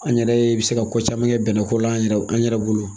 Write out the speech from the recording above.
An yɛrɛɛ be se ka ko caman kɛ bɛnɛ ko la an yɛrɛ b an yɛrɛ bolo.